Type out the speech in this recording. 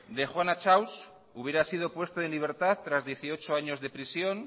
de juana chaos hubiera sido puesto en libertad tras dieciocho años de prisión